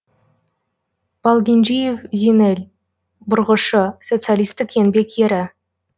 балгенжиев зинел бұрғышы социалистік еңбек ері